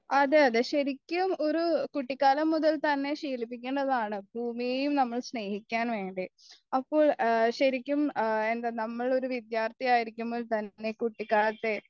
അതെ അതെ ശെരിക്കും ഒരു കുട്ടിക്കാലം മുതൽ തന്നെ ശീലിപ്പിക്കേണ്ടതാണ് ഭൂമിയേ നമ്മൾ സ്നേഹിക്കാനുണ്ട് അപ്പോൾ ഈ ശെരിക്കും എന്താ നമ്മളൊരു വിദ്യാർത്ഥി ആയിരിക്കുമ്പോൾത്തന്നെ കുട്ടിക്കാലത്ത്